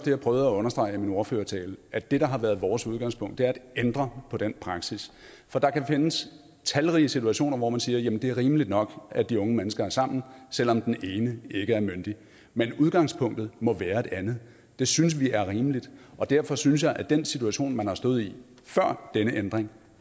jeg prøvede at understrege i min ordførertale at det der har været vores udgangspunkt er at ændre på den praksis der kan findes talrige situationer hvor man kan sige at det er rimeligt nok at de unge mennesker er sammen selv om den ene ikke er myndig men udgangspunktet må være et andet det synes vi er rimeligt og derfor synes jeg at den situation man har stået i før denne ændring